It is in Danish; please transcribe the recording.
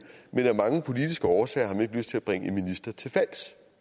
men af mange politiske årsager har man ikke lyst til at bringe en minister til fald